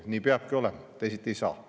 Nii peabki olema, teisiti ei saa.